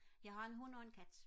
jeg har en hund og en kat